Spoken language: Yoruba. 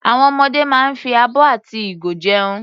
Àwọn ọmọdé máa ń fi abọ́ àti ìgo jẹun.